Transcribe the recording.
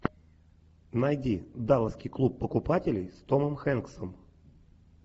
найди далласский клуб покупателей с томом хэнксом